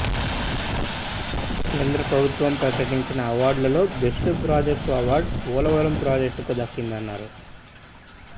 కేంద్రప్రభుత్వం ప్రకటించే అవార్డులలో బెస్ట్ ప్రాజెక్టు అవార్డ్ పోలవరం ప్రాజెక్టుకు దక్కిందన్నారు